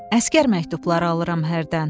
Əsgər məktubları alıram hərdən.